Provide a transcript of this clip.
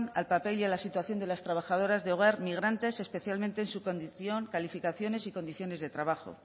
al papel y a la situación de las trabajadoras de hogar migrantes especialmente en su condición calificaciones y condiciones de trabajo